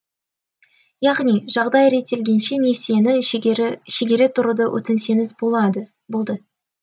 яғни жағдай реттелгенше несиені шегере тұруды өтінсеңіз болды